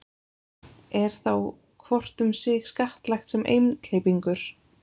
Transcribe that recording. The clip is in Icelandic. er þá hvort um sig skattlagt sem einhleypingur